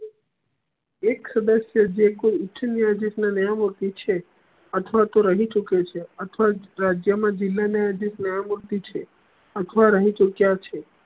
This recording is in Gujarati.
એક સદસ્ય જે કોઈ ઉચ્ચ ન્યાયાધીશ નિયમો થી છે અથવા તો રહી ચુકે છે અથવા રાજ્ય મા જિલા ન્યાયાધીસ નિયમો થી છે અથવા રહી ચુક્યા છે